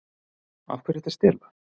Af hverju ertu að stela?